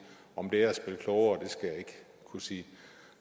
om det er at spille klogere skal jeg ikke kunne sige